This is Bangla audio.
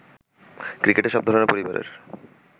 ক্রিকেটে সব ধরনের পরিবারের